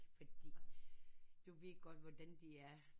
Fordi du ved godt hvordan de er